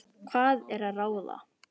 Hvað er til ráða?